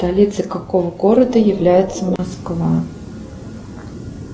столицей какого города является москва